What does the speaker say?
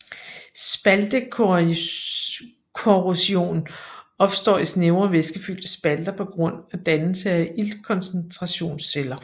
Spaltekorrosion opstår i snævre væskefyldte spalter på grund af dannelse af iltkoncentrationsceller